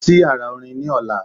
Lọ sí yàrá orin ni ọ̀la.